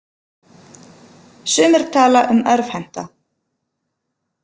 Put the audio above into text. Sumir tala um örvhenta.